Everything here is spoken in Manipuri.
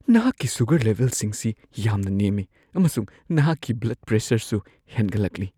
ꯅꯍꯥꯛꯒꯤ ꯁꯨꯒꯔ ꯂꯦꯚꯦꯜꯁꯤꯡꯁꯤ ꯌꯥꯝꯅ ꯅꯦꯝꯃꯤ, ꯑꯃꯁꯨꯡ ꯅꯍꯥꯛꯀꯤ ꯕ꯭ꯂꯗ ꯄ꯭ꯔꯦꯁꯔꯁꯨ ꯍꯦꯟꯒꯠꯂꯛꯂꯤ꯫